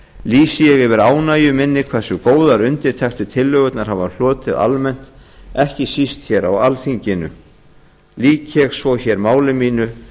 lýsi ég yfir ánægju minni hversu góðar undirtektir tillögurnar hafa hlotið almennt ekki síst hér á alþingi lýk ég hér með máli mínu